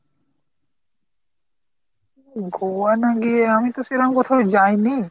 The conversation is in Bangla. গোয়া না গিয়ে, আমি তো সেরম কোথাও যাইনি।